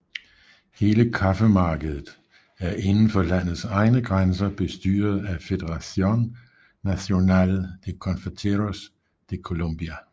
Hele kaffemarkedet er inden for landets egne grænser bestyret af Federación Nacional de Cafeteros de Colombia